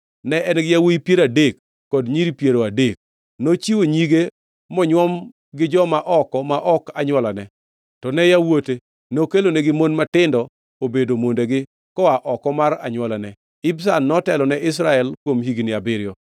Ne en-gi yawuowi piero adek kod nyiri piero adek. Nochiwo nyige monywom gi joma oko ma ok anywolane, to ne yawuote nokelonegi mon matindo obedo mondegi koa oko mar anywolane. Ibzan notelo ne Israel kuom higni abiriyo.